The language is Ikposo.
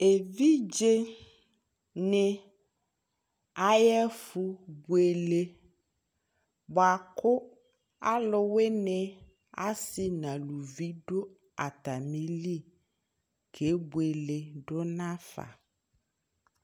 Evidze ni ayʋɛfubuele bua kʋ alʋwini asi nʋ alʋvi dʋ atami lι kebuele dʋ nafa